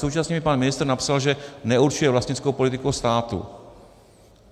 Současně mi pan ministr napsal, že neurčuje vlastnickou politiku státu.